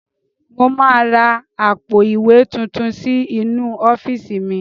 Mo máa ra àpò ìwé tuntun sí inú ọ́fíìsì mi.